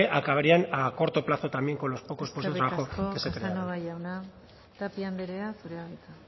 acabarían a corto plazo también con los pocos puestos de trabajo que se crean eskerrik asko casanova jauna tapia anderea zurea da hitza